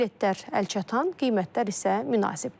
Biletlər əlçatan, qiymətlər isə münasibdir.